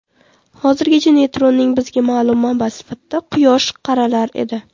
Hozirgacha neytrinoning bizga ma’lum manbasi sifatida Quyosh qaralar edi.